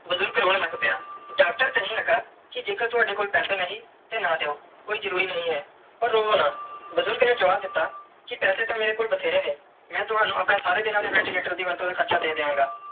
ਬੁਜ਼ਰਗ ਰੋਂ ਲੱਗ ਪਿਆ ਡਾਕਟਰ ਕਈਂ ਲਗਾ ਕੇ ਜੇ ਕਰ ਤਾਵਦੇ ਕੋਲ ਪੈਸੇ ਨਾਈ ਤੇ ਨਾ ਦਿਯੋ ਕੋਈ ਜਰੂਰੀ ਨਾਈ ਆ ਪਾਰ ਰੋਵੋ ਨਾ ਬੁਜ਼ਰਗ ਨੇ ਜਵਾਬ ਦਿੱਤਾ ਕੇ ਪੈਸੇ ਤੇ ਮੇਰੇ ਕੋਲ ਬਟੇਰੇ ਨੇ ਮੈਂ ਤਵਣੁ ਆਪਣੇ ਸਾਰੇ ਦੀਨਾ ਦੇ ventilator ਦਾ ਵੱਧ ਤੂੰ ਵੱਧ ਹਾਰਚਾ ਦੇ ਦੀਆ ਗਏ.